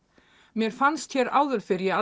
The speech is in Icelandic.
mér fannst hér áður fyrr ég